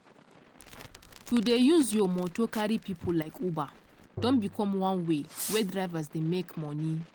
to dey use your moto carry pipo like uber don become one way wey drivers dey make money.